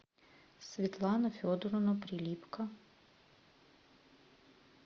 светлана федоровна прилипко